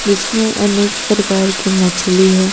जिसमें अनेक प्रकार की मछली है।